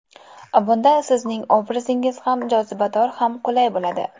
Bunda sizning obrazingiz ham jozibador ham qulay bo‘ladi.